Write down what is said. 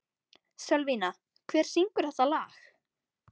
Sölvína, hver syngur þetta lag?